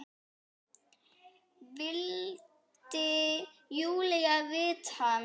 vildi Júlía vita.